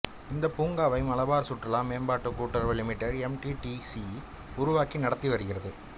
இந்த பூங்காவை மலபார் சுற்றுலா மேம்பாட்டு கூட்டுறவு limited M D T C உருவாக்கி நடத்தி வருகிறது